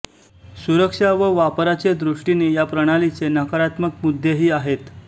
सुरक्षा व वापराचे दृष्टीने या प्रणालीचे नकारात्मक मुद्देही आहेत